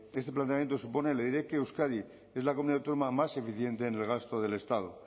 este planteamiento supone le diré que euskadi es la comunidad autónoma más eficiente en el gasto del estado